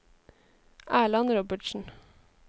Erland Robertsen